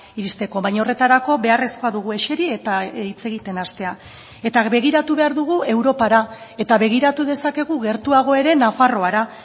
iristeko baina horretarako beharrezkoa dugu eseri eta hitz egiten hastea eta begiratu behar dugu europara eta begiratu dezakegu gertuago ere nafarroara